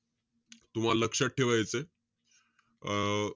तुम्हाला लक्षात ठेवायचंय. अं